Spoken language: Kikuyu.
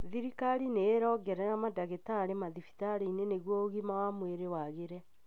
Thirikari nĩ ĩraongerera madagĩtari madhibitarĩinĩ nĩgũo ũgima wa mwĩri wagĩre.